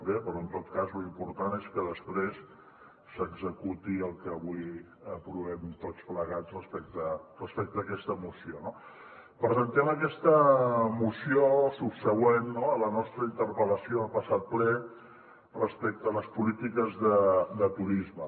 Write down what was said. bé però en tot cas lo important és que després s’executi el que avui aprovem tots plegats respecte a aquesta moció no presentem aquesta moció subsegüent a la nostra interpel·lació el passat ple respecte a les polítiques de turisme